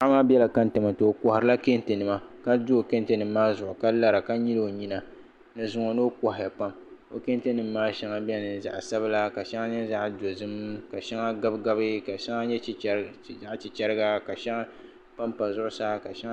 Paɣa maa biɛla kɛntɛ ni o koharila kɛntɛ nima ka do kɛntɛ ni ka lara ka nyili o nyina ni zuŋo ni o kohaya pam o kɛntɛ nim maa shɛŋa biɛni zaɣ sabila ka shɛŋa nyɛ zaɣ dozim ka shɛŋa gabi gabi ka shɛŋa nyɛ chichɛra ka shɛŋa panpa zuɣusaa ka shɛŋa